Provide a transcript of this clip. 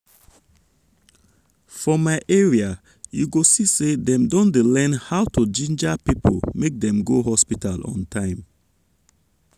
for my area you go see say dem don dey learn how to ginger people make dem go hospital on time.